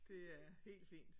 Det er helt fint